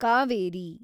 Kaveri